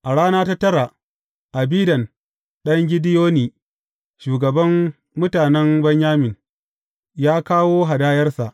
A rana ta tara, Abidan ɗan Gideyoni, shugaban mutanen Benyamin, ya kawo hadayarsa.